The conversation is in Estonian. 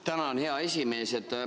Tänan, hea esimees!